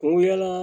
O yala